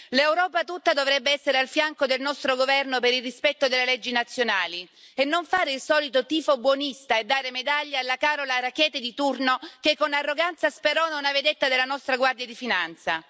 L'Europa tutta dovrebbe essere al fianco del nostro governo per il rispetto delle leggi nazionali e non fare il solito tifo buonista e dare medaglia alla Carola Rackete di turno che, con arroganza, sperona una vedetta della nostra Guardia di Finanza.